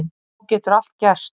Þá getur allt gerst.